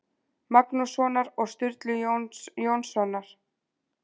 Magnússonar og Sturlu Jóns Jónssonar.